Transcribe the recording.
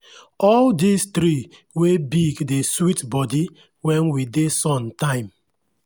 all dese tree wey big dey sweet body when we dey sun time.